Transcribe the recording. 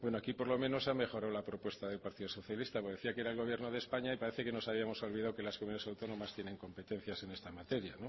bueno por lo menos aquí ha mejorado la propuesta del partido socialista porque decía que era el gobierno de españa y parece que nos habíamos olvidado que las comunidades autónomas tienen competencias sobre esta materia